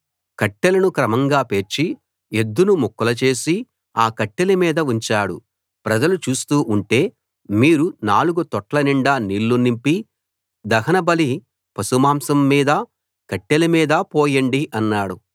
కట్టెలను క్రమంగా పేర్చి ఎద్దును ముక్కలు చేసి ఆ కట్టెల మీద ఉంచాడు ప్రజలు చూస్తూ ఉంటే మీరు నాలుగు తొట్ల నిండా నీళ్లు నింపి దహనబలి పశుమాంసం మీదా కట్టెల మీదా పోయండి అన్నాడు